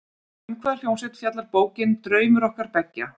Um hvaða hljómsveit fjallar bókin, Draumur okkar beggja?